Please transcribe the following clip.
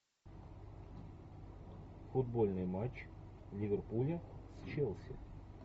футбольный матч ливерпуля с челси